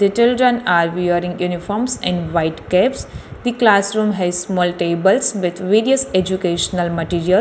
The children are wearing uniforms in white caps the classroom has small tables educational materials.